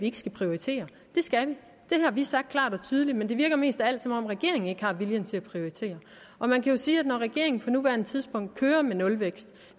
ikke skal prioritere det skal har vi sagt klart og tydeligt men det virker mest af alt som om regeringen ikke har viljen til at prioritere og man kan jo sige at når regeringen på nuværende tidspunkt kører med nulvækst